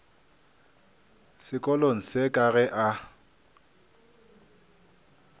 sekolong se ka ge a